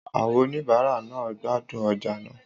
Àwọn oníbàárà náà ń gbádùn ọjà náà.